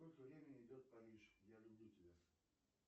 сколько времени идет париж я люблю тебя